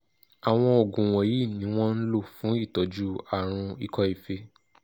àwọn oògùn wọ̀nyí ni wọ́n ń lò fún ìtọ́jú àrùn ikọ́ fée